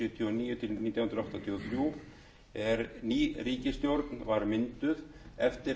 áttatíu og þrjú er ný ríkisstjórn var mynduð eftir